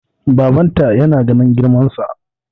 babbanta yana ganin girmansa